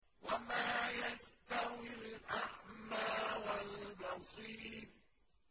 وَمَا يَسْتَوِي الْأَعْمَىٰ وَالْبَصِيرُ